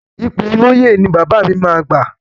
Ipò olóyè ni bàbá mi máa gbà.